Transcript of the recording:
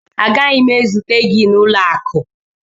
Agaghị m ezute gị n'ụlọ akụ